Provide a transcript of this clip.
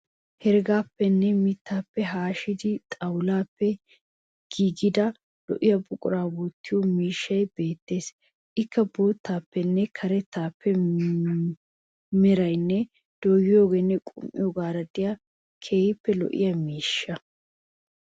Heregaappenne miitta hashido xawulaappe giigida lo'iya buquraa wottiyo miishshay beettes. Ikka boottane karetta merayinne dooyyiyoonne qum'iyoogaaraa de'iyaa keehippe lo'iya miishsha.